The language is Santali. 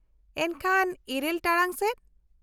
-ᱮᱱᱠᱷᱟᱱ , ᱤᱨᱟᱹᱞ ᱴᱟᱲᱟᱝ ᱥᱮᱡ ?